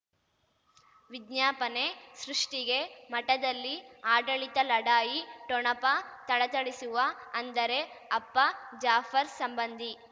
ವಿಜ್ಞಾಪನೆ ಸೃಷ್ಟಿಗೆ ಮಠದಲ್ಲಿ ಆಡಳಿತ ಲಢಾಯಿ ಠೊಣಪ ಥಳಥಳಿಸುವ ಅಂದರೆ ಅಪ್ಪ ಜಾಫರ್ ಸಂಬಂಧಿ